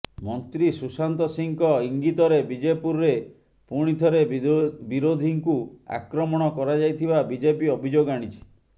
ମନ୍ତ୍ରୀ ସୁଶାନ୍ତ ସିଂହଙ୍କ ଇଙ୍ଗିତରେ ବିଜେପୁରରେ ପୁଣିଥରେ ବିରୋଧୀଙ୍କୁ ଆକ୍ରମଣ କରାଯାଇଥିବା ବିଜେପି ଅଭିଯୋଗ ଆଣିଛି